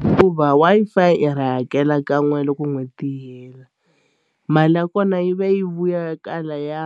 hikuva Wi-Fi i ri hakela kan'we loko n'hweti yi hela mali ya kona yi va yi vuya kwalaya